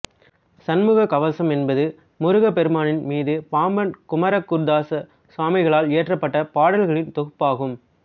சண்முக கவசம் என்பது முருகப் பெருமான் மீது பாம்பன் குமரகுருதாச சுவாமிகளால் இயற்றப்பட்ட பாடல்களின் தொகுப்பு ஆகும்